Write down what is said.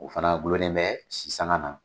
O fana gulonnen bɛ si sanga na